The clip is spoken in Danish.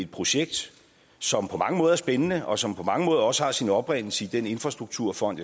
projekt som på mange måder er spændende og som på mange måder også har sin oprindelse i den infrastrukturfond